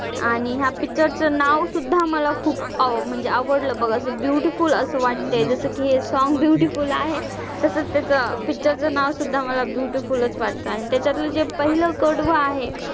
आणि ह्या picture चं नाव सुद्धा मला खूप म्हणजे आवडलं बघ असं beautiful असं वाटतंय जसं की हे song beautiful आहे तसंच त्याचं picture चं नाव सुद्धा मला beautiful च वाटतं आणि त्यातलं जे पहिलं कडवं आहे,